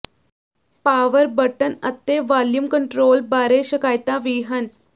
power button ਅਤੇ volume control ਬਾਰੇ ਸ਼ਿਕਾਇਤਾਂ ਵੀ ਹਨ